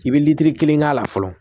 I bɛ litiri kelen k'a la fɔlɔ